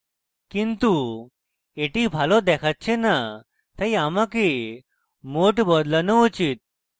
কিন্তু এটি ভালো দেখাচ্ছে না তাই আমাকে mode বদলানো উচিত